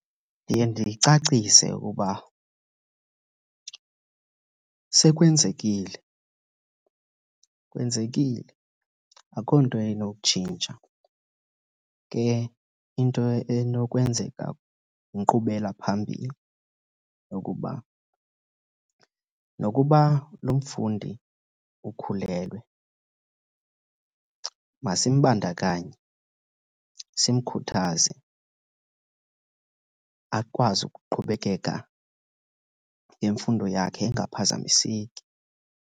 Ndiye ndicacise uba sekwenzekile. Kwenzekile, akho nto inotshintsha. Ke into enokwenzeka yinkqubela phambili yokuba nokuba lo mfundi ukhulelwe masimbandakanye, simkhuthaze akwazi ukuqhubekeka nemfundo yakhe engaphazamiseki.